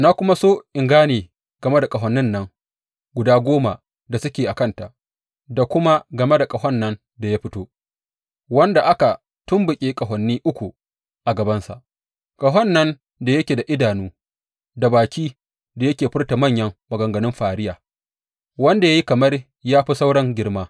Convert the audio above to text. Na kuma so in gane game da ƙahonin nan guda goma da suke a kanta da kuma game da ƙahon nan da ya fito, wanda aka tumɓuke ƙahoni uku a gabansa, ƙahon nan da yake da idanu da bakin da yake furta manyan maganganun fariya, wanda ya yi kamar ya fi sauran girma.